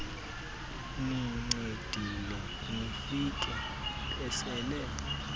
nincedile nifike besele